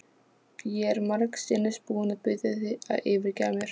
Ég er margsinnis búin að biðja þig að fyrirgefa mér.